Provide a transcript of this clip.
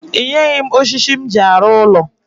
I nyeghi m oshishi m ji aru ulo